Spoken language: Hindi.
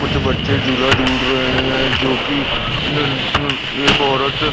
कुछ बच्चे झूला झूल रहे हैं जोकि एक औरत